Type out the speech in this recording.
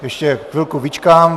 Ještě chvilku vyčkám.